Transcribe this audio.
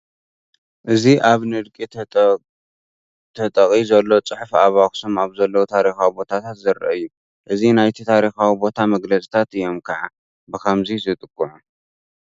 እዚ ኣብ ንድቂ ተጠቒ ዘሎ ፅሑፍ ኣብ ኣኽሱም ኣብ ዘለዉ ታሪካዊ ቦታታት ዝርአ እዩ፡፡ እዚ ናይቲ ታሪካዊ ቦታ መግለፅታት እዮም ከዓ ብኸምዚ ዝጥቅዑ፡፡